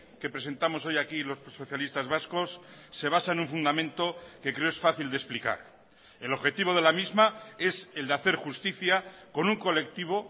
que presentamos hoy aquí los socialistas vascos se basa en un fundamento que creo es fácil de explicar el objetivo de la misma es el de hacer justicia con un colectivo